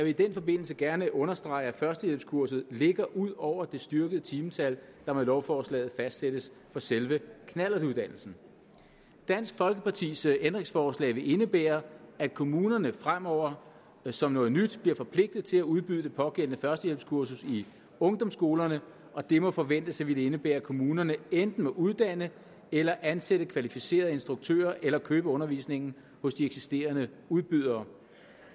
i den forbindelse gerne understrege at førstehjælpskurset ligger ud over det styrkede timetal der med lovforslaget fastsættes for selve knallertuddannelsen dansk folkepartis ændringsforslag vil indebære at kommunerne fremover som noget nyt bliver forpligtet til at udbyde det pågældende førstehjælpskursus i ungdomsskolerne og det må forventes at ville indebære at kommunerne enten må uddanne eller ansætte kvalificerede instruktører eller købe undervisningen hos de eksisterende udbydere